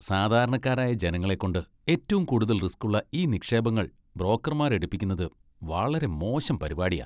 സാധാരണക്കാരായ ജനങ്ങളെക്കൊണ്ട് ഏറ്റവും കൂടുതൽ റിസ്ക്കുള്ള ഈ നിക്ഷേപങ്ങൾ ബ്രോക്കർമാർ എടുപ്പിക്കുന്നത് വളരെ മോശം പരിപാടിയാ.